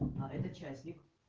а это частник